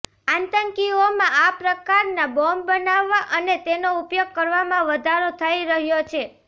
આતંકીઓમાં આ પ્રકારના બોમ્બ બનાવવા અને તેનો ઉપયોગ કરવામાં વધારો થઇ રહ્યો છે